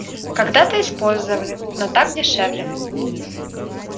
когда-то использовали но так дешевле